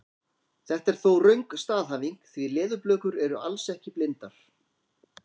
Þetta er þó röng staðhæfing því leðurblökur eru alls ekki blindar!